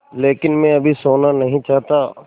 लेकिन मैं अभी सोना नहीं चाहता